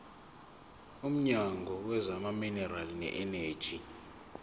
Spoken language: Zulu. womnyango wezamaminerali neeneji